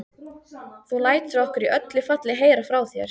Þú lætur okkur í öllu falli heyra frá þér.